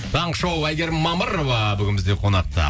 таңғы шоу әйгерім мамырова бүгін бізде қонақта